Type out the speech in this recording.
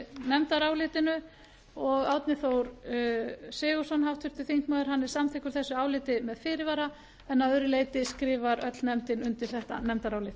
nefndarálitinu og árni þór sigurðsson háttvirtur þingmaður hann er samþykkur þessu áliti með fyrirvara en að öðru leyti skrifar öll nefndin undir þetta nefndarálit